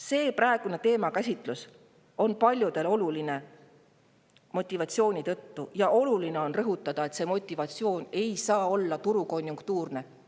See praegune teemakäsitlus on paljudele oluline motivatsiooni tõttu ja oluline on rõhutada, et see motivatsioon ei saa olla turukonjunktuurne.